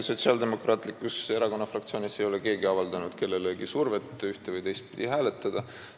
Sotsiaaldemokraatliku Erakonna fraktsioonis ei ole keegi avaldanud kellelegi survet ühte- või teistpidi hääletada.